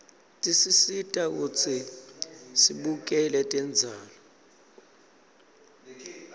tesisita kutsi sibukele tembzalo